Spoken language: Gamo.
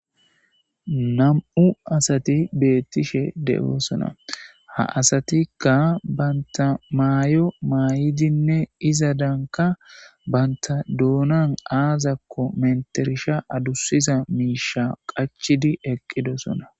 Nam7u asati beettishe de7oosona ha asatikka banta mayo maay7idinne iza daanka banta doonan aazakko menterisha adusiza miisha qachidi eqqidosona.